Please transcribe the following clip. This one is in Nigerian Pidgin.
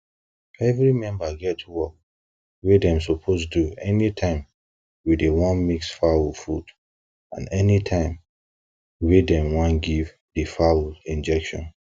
every member get work wey dem suppose do anytime wey dey wan mix fowls food and anytime wey dem wan give di fowls injections